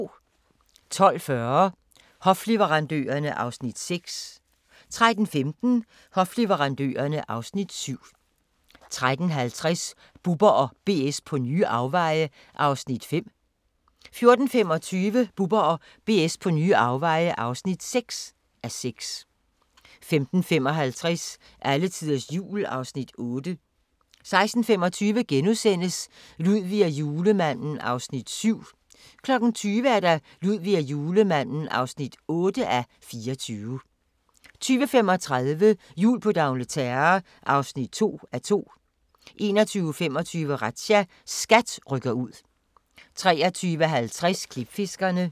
12:40: Hofleverandørerne (Afs. 6) 13:15: Hofleverandørerne (Afs. 7) 13:50: Bubber & BS på nye afveje (5:6) 14:25: Bubber & BS på nye afveje (6:6) 15:55: Alletiders Jul (Afs. 8) 16:25: Ludvig og Julemanden (7:24)* 20:00: Ludvig og Julemanden (8:24) 20:35: Jul på d'Angleterre (2:2) 21:25: Razzia – SKAT rykker ud 23:50: Klipfiskerne